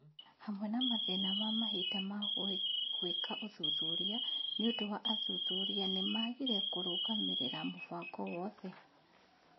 Hamwe na mathĩna ma mahinda ma gũĩka ũthuthuria nĩũndũ wa athuthuria nĩmagire kũrũgamĩrĩra mũbango wothe